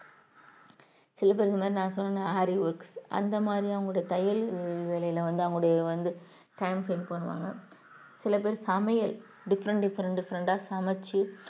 சில பேர் இந்த மாதிரி நான் சொன்னேன் ஆரி works அந்த மாதிரி அவங்களோட தையல் வேலையில வந்து அவங்களுடைய வந்து time spend பண்ணுவாங்க சில பேர் சமையல் different different different ஆ சமைச்சு